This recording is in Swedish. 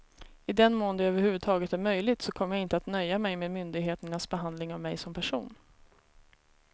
I den mån det över huvud taget är möjligt så kommer jag inte att nöja mig med myndigheternas behandling av mig som person.